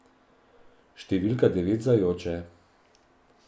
Številka devet zajoče.